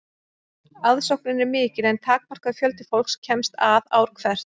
aðsóknin er mikil en takmarkaður fjöldi fólks kemst að ár hvert